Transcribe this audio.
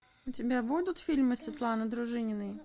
у тебя будут фильмы светланы дружининой